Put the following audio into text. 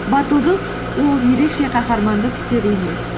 батылдық ол ерекше қаһармандық істер емес